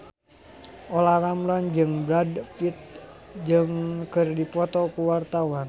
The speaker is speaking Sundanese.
Olla Ramlan jeung Brad Pitt keur dipoto ku wartawan